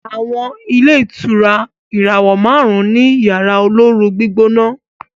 àwọn ilé ìtura ìràwọ márùn ní Yàrá olóoru-gbígbóná.